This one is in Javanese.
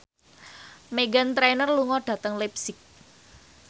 Meghan Trainor lunga dhateng leipzig